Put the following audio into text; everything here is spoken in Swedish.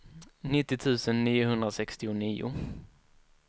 nittio tusen niohundrasextionio